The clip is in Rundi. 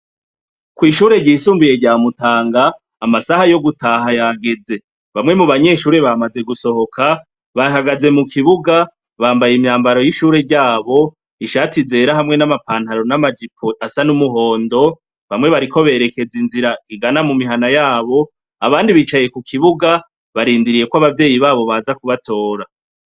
Kw'ishure ryisumbuye rya mutanga amasaha yogutaha yageze bamwe mu banyeshure bamaze gusohoka bahagaze mu kibuga bambaye imyambaro y'ishure ryabo ishati ryera nama pantaro nama jipo asa n'umuhondo bamwe bariko berekeza inzira ingana mu mihana yabo abandi bicaye ku kibuga barindiriye yuko abavyeyi babo baza kubatora.